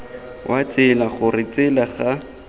wa tsela gore tsela ga